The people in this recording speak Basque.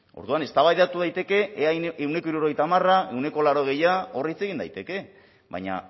orduan eztabaidatu daiteke ea ehuneko hirurogeita hamarra ehuneko laurogeia hor hitz egin daiteke baina